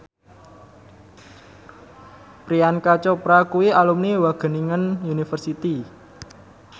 Priyanka Chopra kuwi alumni Wageningen University